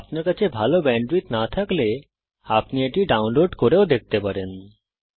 যদি আপনার কাছে ভালো ব্যান্ডউইডথ না থাকে তাহলে আপনি এটা ডাউনলোড করেও দেখতে পারেন